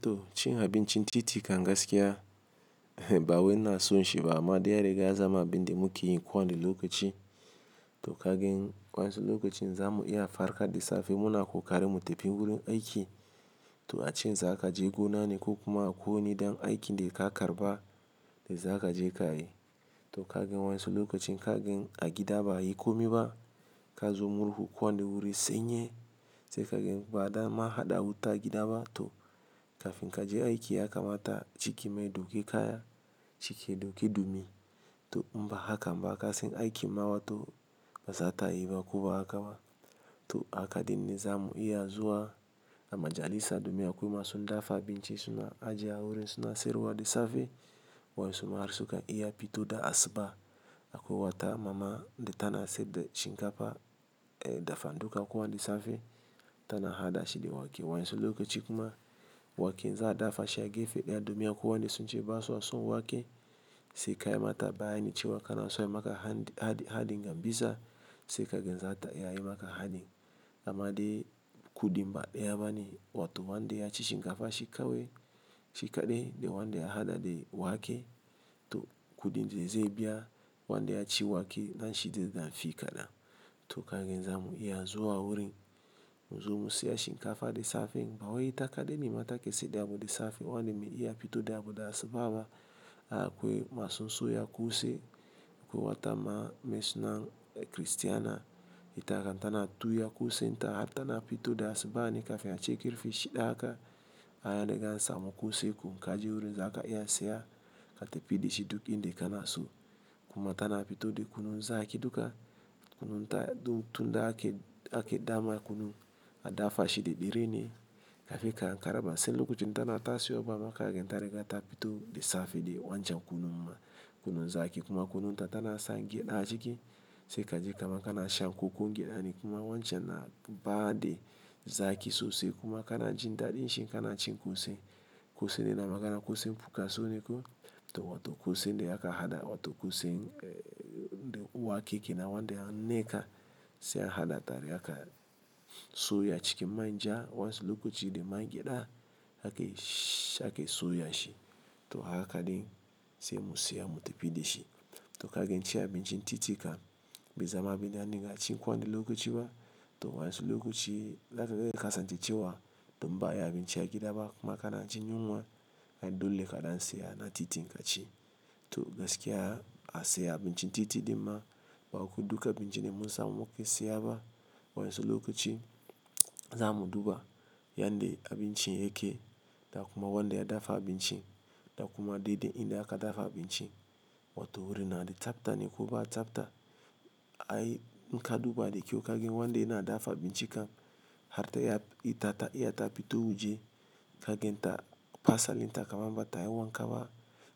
To cin abincin titi kan gaskiya, bawai ina son shi ba, amma dai ya riga ya zamu abin da muke yin ko wani lokaci. To kagan wasu lokacin za mu iya farka da safe muna kokarin mu tafi wurin aiki. Toh ace zaka je gona ne ko kuma a kwai wani dan aikin da ka karɓa da zaka je kayi. To kagan wasu lokacin kagan a gida ba a yi komi ba, ka zo murhu ko wani wuri sanyi sai kagan ba a dan ma haɗa wuta a gida ba to kafin kaje aiki ya kamata ciki ma ya dauki kaya, cike ya dauki dumi. Toh in ba hakan ba kasan aikin ma wato ba zata yi ba ko ba haka ba. To haka din ne za mu iya zuwa, a majallisa domin akwai masu dafa abinci suna ajiye a wurin suna siyarwa da safe. Wasu ma har sukan iya pito da asuba. Akwai wata mama da tana saida shinkafa, eh dafa duka ko wani safe, tana haɗa shi da wake. Wasu lokacin kuma wake za a dafa shi a gefe ɗaya domin akwai wanda sun ce basu son wake sai ka yi mata bayani cewa kana so a yi maka haɗi, haɗi, haɗin gambiza sai kagan zata iya yi maka haɗin. Amma dai kudi ba daya bane wato wanda ya ci shinkafa shi kawo shi kaɗai da wanda ya haɗa da wake toh kudin da zai biya wanda ya ci wake nashi ze dan fi kaɗan. To kagan za mu iya zuwa wurin mu zuba sai shinkafa da safe. Kaman ita kaɗai ne ma ta ke siyar da abu da safe. Wani mai iya pito da abu da asuba ba akwai masu soya kose. Akwai wata ma meye sunan ta kiristiana, ita haka tana tuya kosen ta, har tana pito da asuba ne kafin a ce kafe shida haka. Kaga anan an samu kose ko in kaje wurin za ka iya saye. Ka tafi da shi duk inda kanaso. Kuma tana pito da kunun zaki duka. Kunun ta dun tunda ake, ake dama kunu a dafa shi dada ɗare ne kafin ka Ankara ba. Sai lokacin tana tashi wa zaka ga ta riga ta pito da safe da wancan kunun ma kunun zaki kuma kunun ta tana san gyada a ciki sai ka ji kaman kana shan kokon gyaɗa ne kuma wancan na ba da zaki sosai kuma kana jin daɗin shi kana cin kose. Kuse naina ma kana kuse fuka so ne ku to wato kuse da aka haɗa wato kuse eh da wake kenan wanda ya nneka sai a haɗa tare haka so ya ciki manja wansi lokacin da man gyada aka yi, aka yi so ya shi. To haka ɗin sai mu siya mu tafi dashi. To kaga in ci abinci titi kam, ban samu abunda kaga bai ciwu wa to wayan su lokaci cewa in ba'a yi abinci a gida ba kuma kana jin yunwa dole ka saya na titi ka ci to gaskiya a siya abincin titi dinnan ba ku duka abinci da mun samu muka siya ba. Wa yansu lokacin za mu duba yanda abinci yake da kuma wanda ya dafa abinci da kuma daidai inda aka dafa abinci. Wato wurin na da tsafta ne ko ba tsafta. Ai, inka duba da kyau kaga wanda yana dafa abinci kan har ta yi ita ta iya ta fito wuje kagan ta fasalin ta kamam ba ta yi wanka ba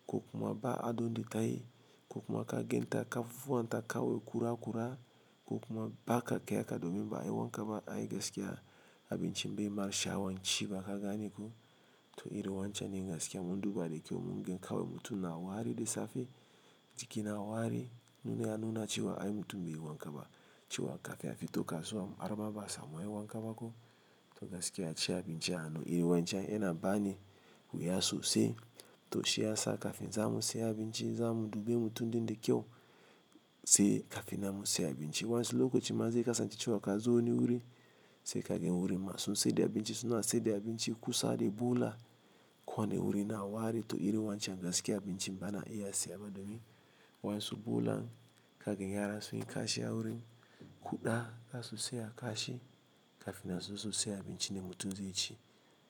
ko kuma ba a don da tayi ko kuma kagan ta kafan ta kaman kura kura ko kuma ba ka kai aka domin ba yi wanka ba ai gaskiya abinci bai ma sha'awan ci ba ka gane ko. To iri wancan ne masu kyau mun duba da kyau mun ga kawai mutum na wari da safe, jiki na wari nuna ya nuna cewa ai mutum bai yi wanka ba cewa kaka ya fi to kasuwa maraba ba samun yi wanka ba ko. To gaskiya ci abinci a hannu iri wancan yana bani wuya sosai. To shi yasa kafin zamu saya abinci zamu duba mutun di da kyau sai ka finnan mu sai abinci wayan su lokacin ma zai kasance cewa ka zo wani wuri sai kagan wurin masu siyar da abinci suna saida abinci kusa da bola kwan wurin na wari to iri wancan gaskiya abinci bana iya siya ba domin wansu bola kaga yara sun yi kashi a wurin. Kuda ka su siya kashi kafin na su sosai abinci da mutun ze ci.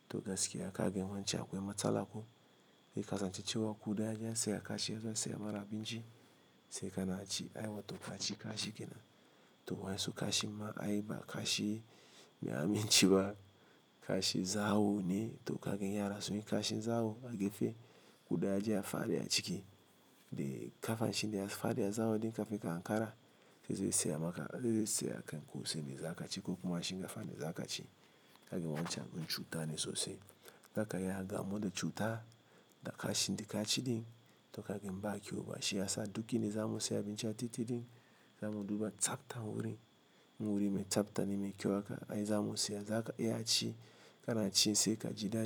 To gaskiya kagan wancan akwai matsala ko. Zai kasance cewa kuda zasu kashi zan saya mana abinci sai ka na ci ai wato kaci kashi kenan. To wayan su kashi ma ai ba kashi ya amince ba. Kashi zawo ne to kaga yara sun yi kashi zawo a gefe kuda zai faɗi a ciki. Kafa shi ne faɗi a zawo ɗin kafin ka Ankara zai siya maka, zai siya kan kose ne za ka ci ko kuma shinkafa ne za ka ci. Kaga wancan abun cuta ne sosai. Daka ya gamu da cuta da kashi da kaci din to ka ba kyau ba. Shi ya sa duk inda za mu siya abinci a titi din za mu duba tsaftan wurin. Wuri mai tsafta ne mai kyau haka ai za mu siya zaka iya a ci kana cin sai ka ji daɗi.